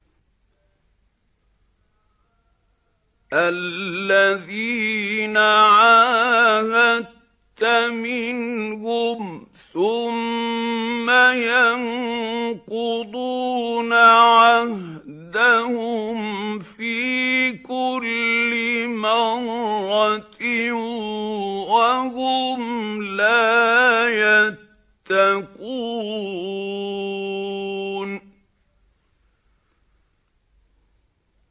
الَّذِينَ عَاهَدتَّ مِنْهُمْ ثُمَّ يَنقُضُونَ عَهْدَهُمْ فِي كُلِّ مَرَّةٍ وَهُمْ لَا يَتَّقُونَ